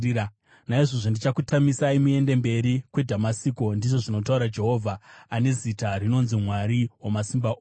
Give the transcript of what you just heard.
Naizvozvo ndichakutamisai muende mberi kweDhamasiko,” ndizvo zvinotaura Jehovha ane zita rinonzi Mwari Wamasimba Ose.